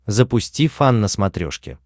запусти фан на смотрешке